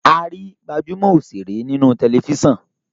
a rí gbajúmò òṣèré ní inú Tẹlifísàn.